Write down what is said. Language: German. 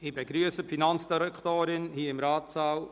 Ich begrüsse die Finanzdirektorin hier im Ratssaal.